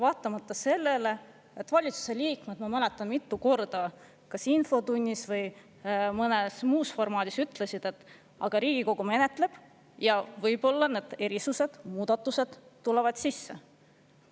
Samas ma mäletan, et valitsuse liikmed mitu korda kas infotunnis või mõnes muus formaadis ütlesid, et Riigikogu menetleb eelnõu ja võib-olla need erisused tulevad sisse.